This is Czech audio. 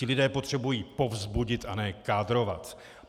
Ti lidé potřebují povzbudit a ne kádrovat.